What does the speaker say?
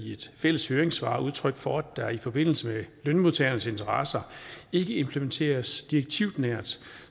i et fælles høringssvar udtryk for at der i forbindelse med lønmodtagernes interesser ikke implementeres direktivnært